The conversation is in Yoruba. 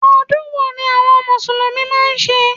Odún wo ni àwon mùsùlùmí máa n se?